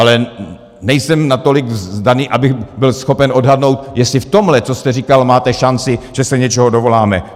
Ale nejsem natolik zdatný, abych byl schopen odhadnout, jestli v tomhle, co jste říkal, máte šanci, že se něčeho dovoláme.